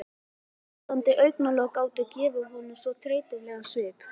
Slútandi augnalokin gátu gefið honum svo þreytulegan svip.